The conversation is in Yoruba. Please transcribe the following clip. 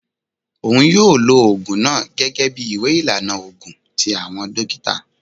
Oun yoo lo oogun naa gẹgẹbi iwe ilana oogun ti awọn dokita.